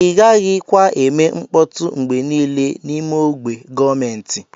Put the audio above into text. Igaghi kwa eme nkpọtụ ngbe nile na ime ogbe gọọmenti.